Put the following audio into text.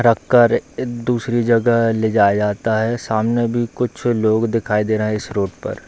रख कर दूसरी जगह ले जाया जाता है सामने भी कुछ लोग दिखाई दे रहे है इस रूट पर।